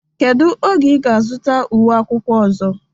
Kedu oge ị ga-azụta uwe akwụkwọ ọzọ?